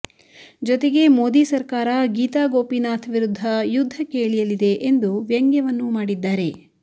ಜೊತೆಗೆ ಮೋದಿ ಸರ್ಕಾರ ಗೀತಾ ಗೋಪಿನಾಥ್ ವಿರುದ್ಧ ಯುದ್ಧಕ್ಕೆ ಇಳಿಯಲಿದೆ ಎಂದು ವ್ಯಂಗ್ಯವನ್ನೂ ಮಾಡಿದ್ದಾರೆ